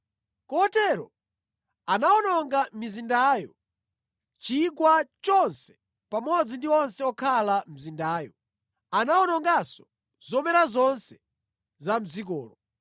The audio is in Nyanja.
Kotero, anawononga mizindayo, chigwa chonse pamodzi ndi onse okhala mʼmizindayo. Anawononganso zomera zonse za mʼdzikolo.